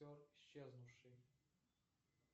исчезнувший